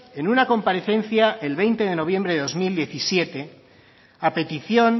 en una comparecencia el veinte de noviembre de dos mil diecisiete a petición